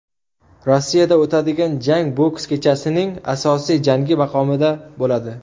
Rossiyada o‘tadigan jang boks kechasining asosiy jangi maqomida bo‘ladi.